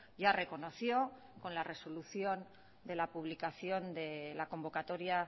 ya reconoció con la resolución de la publicación de la convocatoria